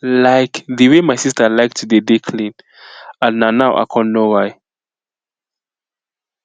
like di way my sister like to dey dey clean and na now i con know why